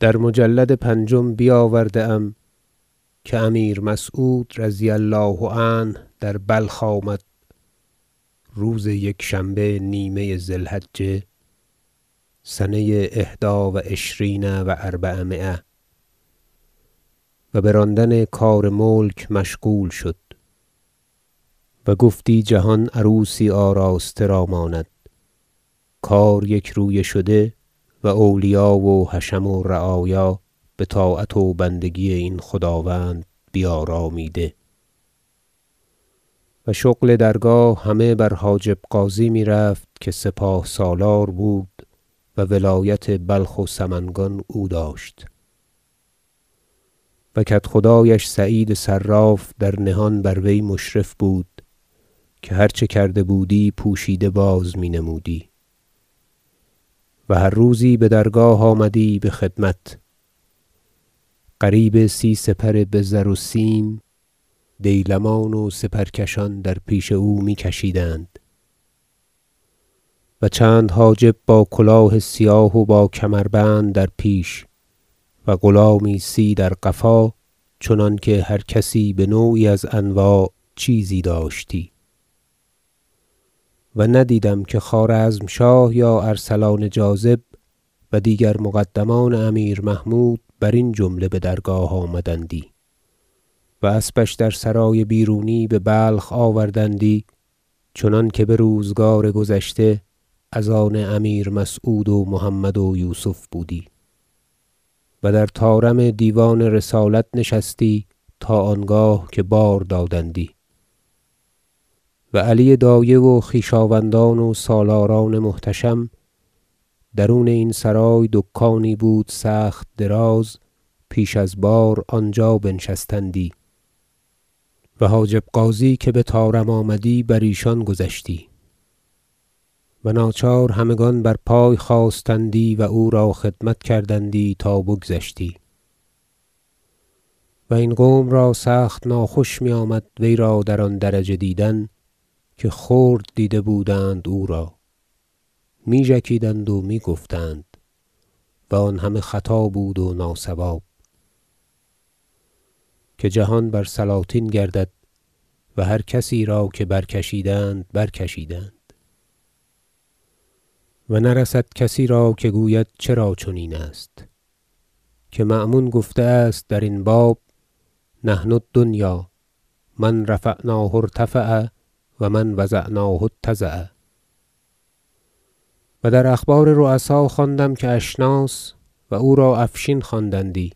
در مجلد پنجم بیاورده ام که امیر مسعود -رضي الله عنه- در بلخ آمد روز یکشنبه نیمه ذی الحجة سنه إحدی و عشرین و أربعمایه و به راندن کار ملک مشغول شد و گفتی جهان عروسی آراسته را ماند کار یکرویه شده و اولیا و حشم و رعایا به طاعت و بندگی این خداوند بیارامیده و شغل درگاه همه بر حاجب غازی میرفت که سپاه سالار بود و ولایت بلخ و سمنگان او داشت و کدخدایش سعید صراف در نهان بر وی مشرف بود که هر چه کردی پوشیده بازنمودی و هر روزی به درگاه آمدی به خدمت قریب سی سپر بزر و سیم دیلمان و سپرکشان در پیش او می کشیدند و چند حاجب با کلاه سیاه و با کمربند در پیش و غلامی سی در قفا چنانکه هر کسی به نوعی از انواع چیزی داشتی و ندیدم که خوارزمشاه یا ارسلان جاذب و دیگر مقدمان امیر محمود برین جمله به درگاه آمدندی و اسبش در سرای بیرونی به بلخ آوردندی چنانکه به روزگار گذشته از آن امیر مسعود و محمد و یوسف بودی و در طارم دیوان رسالت نشستی تا آنگاه که بار دادندی و علی دایه و خویشاوندان و سالاران محتشم درون این سرای دکانی بود سخت دراز پیش از بار آنجا بنشستندی و حاجب غازی که به طارم آمدی بر ایشان گذشتی و ناچار همگان بر پای خاستندی و او را خدمت کردندی تا بگذشتی و این قوم را سخت ناخوش میامد وی را در آن درجه دیدن که خرد دیده بودند او را می ژکیدند و می گفتند و آن همه خطا بود و ناصواب که جهان بر سلاطین گردد و هر کسی را که برکشیدند برکشیدند و نرسد کسی را که گوید چرا چنین است که مأمون گفته است درین باب نحن الدنیا من رفعناه ارتفع و من وضعناه اتضع و در اخبار رؤسا خواندم که اشناس -و او را افشین خواندندی-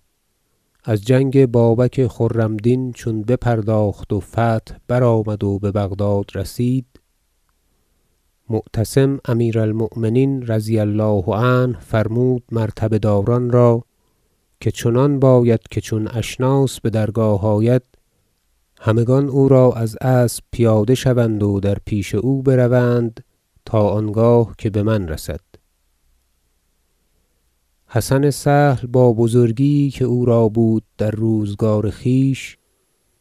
از جنگ بابک خرمدین چون بپرداخت و فتح برآمد و به بغداد رسید معتصم امیر المؤمنین -رضي الله عنه- فرمود مرتبه داران را که چنان باید که چون اشناس به درگاه آید همگان او را از اسب پیاده شوند و در پیش او بروند تا آنگاه که به من رسد حسن سهل با بزرگی یی که او را بود در روزگار خویش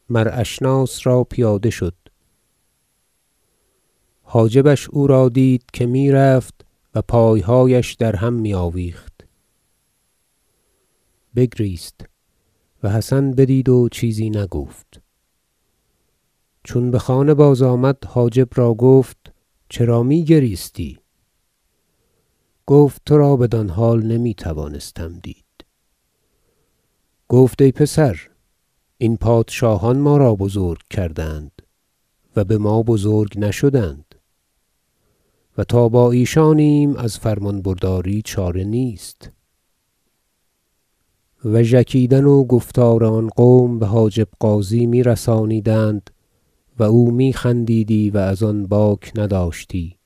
مر اشناس را پیاده شد حاجبش او را دید که میرفت و پایهایش در هم می آویخت بگریست و حسن بدید و چیزی نگفت چون به خانه بازآمد حاجب را گفت چرا میگریستی گفت تو را بدان حال نمیتوانستم دید گفت ای پسر این پادشاهان ما را بزرگ کردند و به ما بزرگ نشدند و تا با ایشانیم از فرمان برداری چاره نیست و ژکیدن و گفتار آن قوم به حاجب غازی میرسانیدند و او میخندیدی و از آن باک نداشتی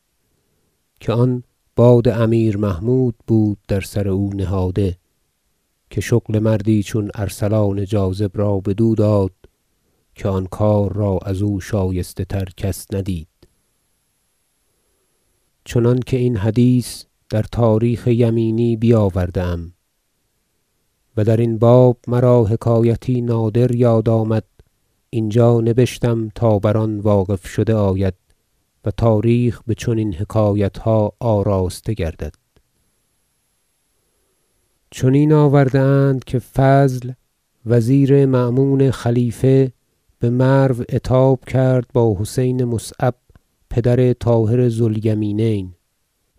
که آن باد امیر محمود بود در سر او نهاده که شغل مردی چون ارسلان جاذب را بدو داد که آن کار را ازو شایسته تر کس ندید چنانکه این حدیث در تاریخ یمینی بیاورده ام و درین باب مرا حکایتی نادر یاد آمد اینجا نبشتم تا بر آن واقف شده آید و تاریخ به چنین حکایتها آراسته گردد حکایت فضل سهل ذو الریاستین با حسین بن المصعب چنین آورده اند که فضل وزیر مأمون خلیفه به مرو عتاب کرد با حسین مصعب پدر طاهر ذو الیمینین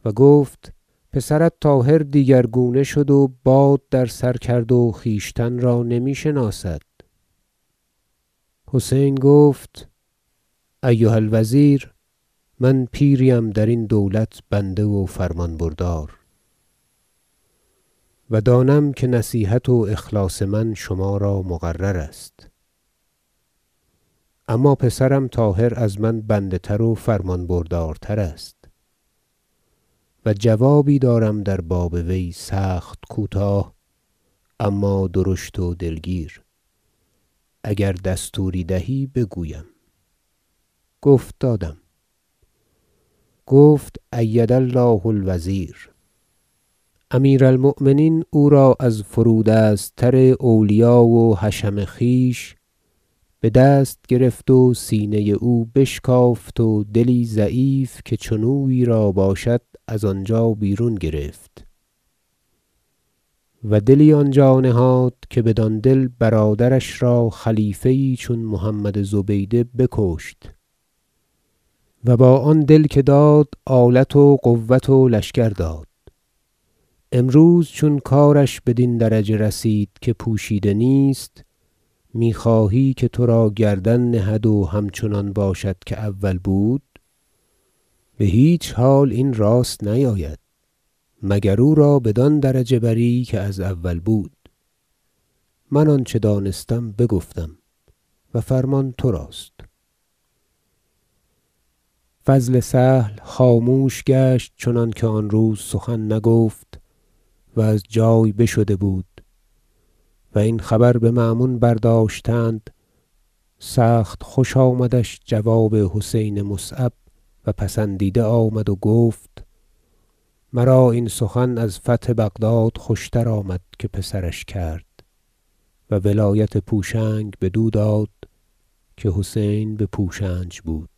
و گفت پسرت طاهر دیگرگونه شد و باد در سر کرد و خویشتن را نمی شناسد حسین گفت ایها الوزیر من پیری ام درین دولت بنده و فرمان بردار و دانم که نصیحت و اخلاص من شما را مقرر است اما پسرم طاهر از من بنده تر و فرمان بردارترست و جوابی دارم در باب وی سخت کوتاه اما درشت و دلگیر اگر دستوری دهی بگویم گفت دادم گفت أید الله الوزیر امیر المؤمنین او را از فرودست تر اولیا و حشم خویش به دست گرفت و سینه او بشکافت و دلی ضعیف که چنویی را باشد از آنجا بیرون گرفت و دلی آنجا نهاد که بدان دل برادرش را خلیفه یی چون محمد زبیده بکشت و با آن دل که داد آلت و قوة و لشکر داد امروز چون کارش بدین درجه رسید که پوشیده نیست میخواهی که تو را گردن نهد و همچنان باشد که اول بود به هیچ حال این راست نیاید مگر او را بدان درجه بری که از اول بود من آنچه دانستم بگفتم و فرمان تو راست فضل سهل خاموش گشت چنانکه آن روز سخن نگفت و از جای بشده بود و این خبر به مأمون برداشتند سخت خوش آمدش جواب حسین مصعب و پسندیده آمد و گفت مرا این سخن از فتح بغداد خوشتر آمد که پسرش کرد و ولایت پوشنگ بدو داد که حسین به پوشنج بود